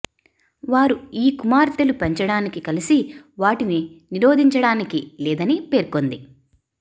వారు ఈ కుమార్తెలు పెంచడానికి కలిసి వాటిని నిరోధించడానికి లేదని పేర్కొంది